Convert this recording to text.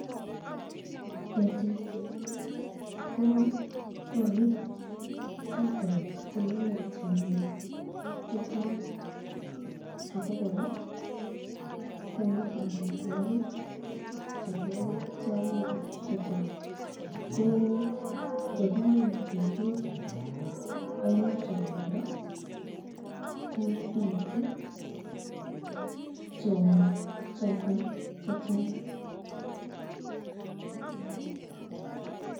Ketik ko korik choton chemenye tyongik chechang, ako koraa konu amitwokik chebo tyongik chechang ,ko yekimin ketik eng chongindo ko bitu tyongik choton chechang.